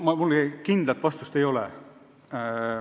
Mul kindlat vastust ei ole.